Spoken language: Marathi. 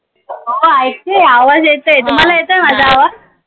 हो ऐकतेय आवाज येत आय तुम्हाला येत आय माझा आवाज